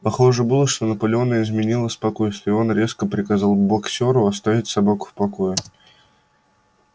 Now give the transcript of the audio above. похоже было что наполеону изменило спокойствие и он резко приказал боксёру оставить собаку в покое